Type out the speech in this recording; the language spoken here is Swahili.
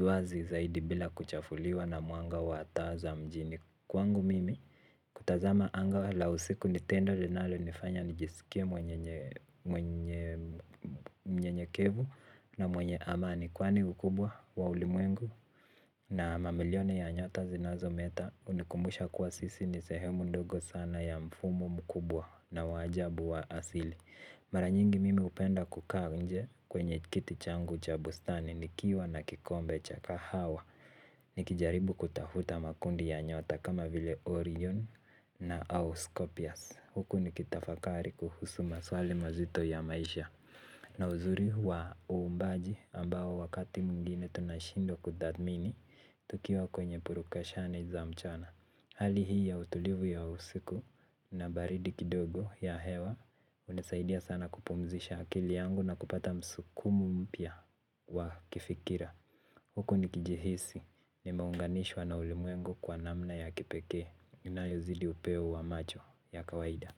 Wazi zaidi bila kuchafuliwa na mwanga wa taa za mjini kwangu mimi. Kutazama anga wala usiku ni tendo linalonifanya nijisikie mnyenyekevu na mwenye amani kwani ukubwa wa ulimwengu. Na mamilioni ya nyota zinazometa hunikumbusha kuwa sisi ni sehemu ndogo sana ya mfumo mkubwa na wa ajabu wa asili. Mara nyingi mimi hupenda kukaa nje kwenye kiti changu cha bustani nikiwa na kikombe cha kahawa. Nikijaribu kutafuta makundi ya nyota kama vile Orion na Auscopias Huku nikitafakari kuhusu maswali mazito ya maisha na uzuri wa uumbaji ambao wakati mwingine tunashindwa kutathmini tukiwa kwenye purukashani za mchana. Hali hii ya utulivu ya usiku na baridi kidogo ya hewa hunisaidia sana kupumzisha akili yangu na kupata msukumo mpya wa kifikira. Huku nikijihisi nimeunganishwa na ulimwengu kwa namna ya kipekee inayozidi upeo wa macho ya kawaida.